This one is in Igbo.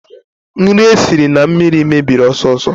Nri esiri na mmiri mebiri ọsọ ọsọ